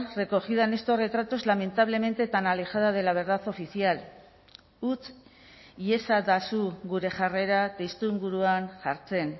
recogida en estos retratos lamentablemente tan alejada de la verdad oficial utz iezadazu gure jarrera testuinguruan jartzen